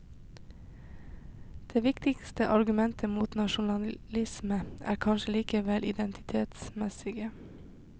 Det viktigste argumentet mot nasjonalismen er kanskje likevel det identitetsmessige.